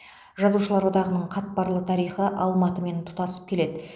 жазушылар одағының қатпарлы тарихы алматымен тұстасып келеді